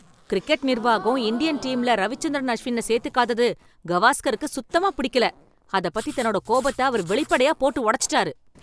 cricket நிர்வாகம் Indian டீம்ல ரவிச்சந்திரன் அஷ்வின்ன சேத்துக்காதது கவாஸ்கருக்கு சுத்தமாப் பிடிக்கல, அதப் பத்தி தன்னோட கோபத்த அவர் வெளிப்படையா போட்டு உடச்சுட்டார்